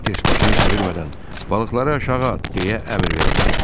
Salters başını çevirmədən balıqları aşağı at deyə əmr verdi.